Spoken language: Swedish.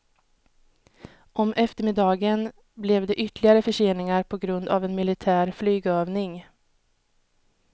Om eftermiddagen blev det ytterligare förseningar på grund av en militär flygövning.